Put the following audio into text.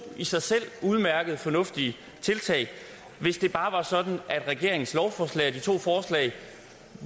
i sig selv udmærkede fornuftige tiltag hvis det bare var sådan at regeringens lovforslag altså de to forslag